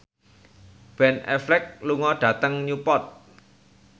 Ben Affleck lunga dhateng Newport